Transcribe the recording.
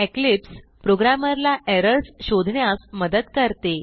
Eclipse प्रोग्रॅमरला errors शोधण्यास मदत करते